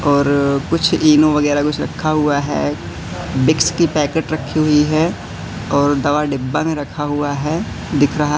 और कुछ इनो वगैराह कुछ रखा हुआ है। विक्स की पैकेट रखी हुई है और दवा डिब्बा में रखा हुआ हैं दिख रहा--